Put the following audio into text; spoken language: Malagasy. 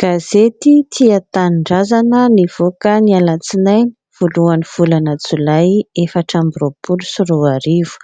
Gazety "tia tanindrazana" nivoaka ny alatsinainy voalohan'ny volana Jolay efatra amby roapolo sy roa arivo,